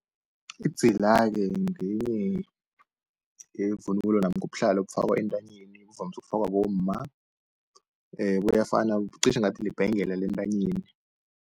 Idzila-ke ngenye yevunulo namkha ubuhlalo obufakwa entanyeni, buvamise ukufakwa bomma buyafana qishe ngathi libhengela lentanyeni.